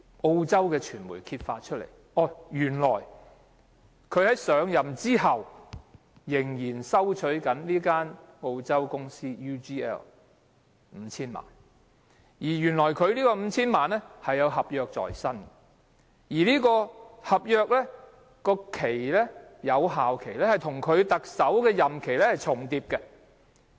澳洲傳媒揭發，原來他在上任後仍然收取澳洲公司 UGL 5,000 萬元，原因是他有合約在身，而這份合約的有效期與他的特首任期是重疊的。